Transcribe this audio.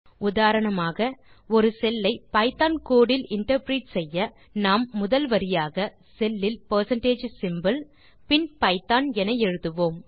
உதாரணமாக ஒரு செல் ஐ பைத்தோன் கோடு இல் இன்டர்பிரெட் செய்ய நாம் முதல் வரியாக செல் லில் பெர்சென்டேஜ் சிம்போல் பின் பைத்தோன் எழுதுவோம்